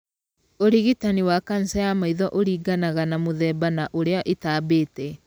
Ũrigitani wa kanca ya maitho ũringanaga na mũthemba na ũrĩa ĩtambĩte.